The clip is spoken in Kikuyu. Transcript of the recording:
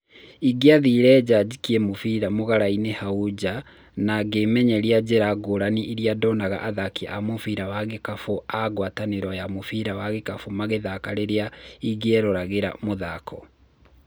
Ingĩathire nja njikie mũbira mũgarainĩ hau nja na ngĩmenyeria njĩra ngũrani iria ndonaga athaki a mũbira wa gĩkabũ a ngwataniro ya mũbira wa gikabũ magĩka rĩrĩa ingĩerũragĩra mũthako.